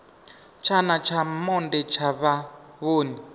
tshana tsha monde tsha vhavhoni